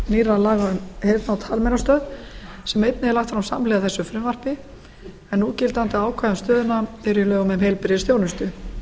nýrra laga til laga um heyrnar og talmeinastöð sem einnig er lagt fram samhliða þessu frumvarpi en núgildandi ákvæði um stöðina eru í lögum um heilbrigðisþjónustu